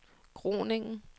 Groningen